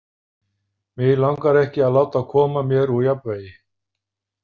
Mig langar ekki að láta koma mér úr jafnvægi.